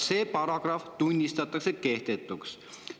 See paragrahv tunnistatakse kehtetuks.